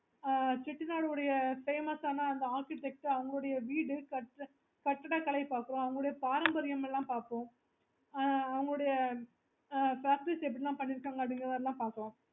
okay